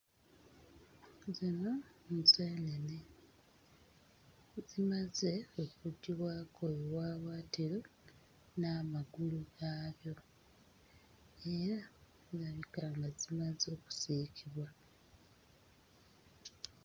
Zino nseenene zimaze okuggyibako obuwaawaatiro n'amagulu gaabyo era zirabika nga zimaze okusiikibwa.